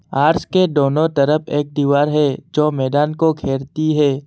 Arch के दोनों तरफ एक दीवार है जो मैदान को घेरती है।